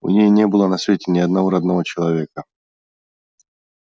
у ней не было на свете ни одного родного человека